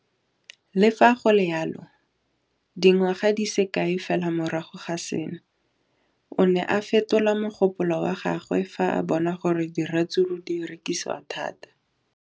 Le fa go le jalo, dingwaga di se kae fela morago ga seno, o ne a fetola mogopolo wa gagwe fa a bona gore diratsuru di rekisiwa thata.